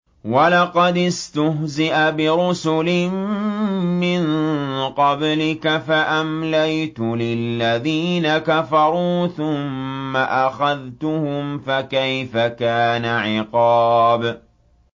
وَلَقَدِ اسْتُهْزِئَ بِرُسُلٍ مِّن قَبْلِكَ فَأَمْلَيْتُ لِلَّذِينَ كَفَرُوا ثُمَّ أَخَذْتُهُمْ ۖ فَكَيْفَ كَانَ عِقَابِ